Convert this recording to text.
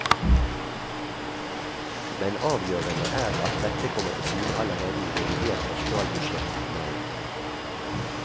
Men avgjørende er at dette kommer til syne allerede i revidert nasjonalbudsjett i mai.